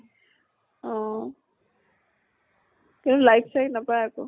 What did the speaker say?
অহ কিন্তু like চাইক নাপায় আকৌ।